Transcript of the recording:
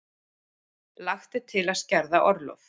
Lagt til að skerða orlof